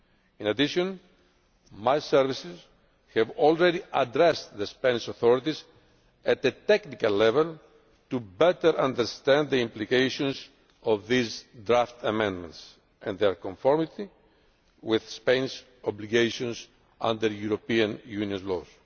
In addition, my services have already addressed the Spanish authorities at the technical level to better understand the implications of these draft amendments and their conformity with Spain's obligations under European Union law.